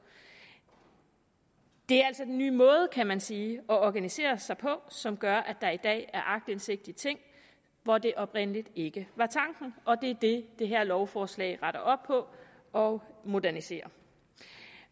det er altså den nye måde kan man sige at organisere sig på som gør at der i dag er aktindsigt i ting hvor det oprindelig ikke var tanken og det er det det her lovforslag retter op på og moderniserer